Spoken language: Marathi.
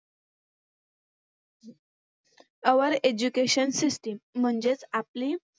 Our education system म्हणजेच आपली